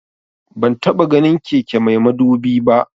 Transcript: Ban taba ganin keke mai madubi ba